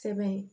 Sɛbɛn